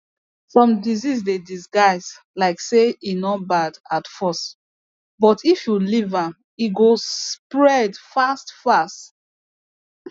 some disease dey disguise like say e no bad at first but if you leave am e go spead fast fast